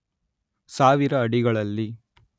ಸಾವಿರ ಅಡಿಗಳಲ್ಲಿ